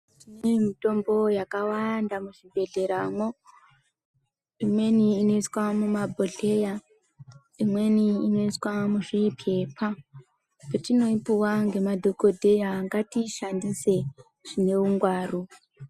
Kune mitombo yakawanda muzvibhedhleramwo, imweni inoiswa mumabhodhleya, imweni inosisa muzvipepa petinoipuwa ngemadhokoteya ngatiishandise zvine ungwaru.